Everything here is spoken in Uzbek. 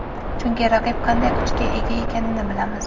Chunki raqib qanday kuchga ega ekanini bilamiz”.